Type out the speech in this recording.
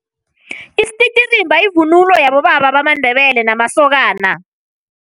Isititirimba yivunulo yabobaba bamaNdebele namasokana.